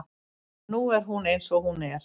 Nú er hún eins og hún er.